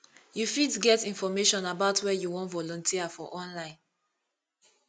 you fit get information about where you wan volunteer for online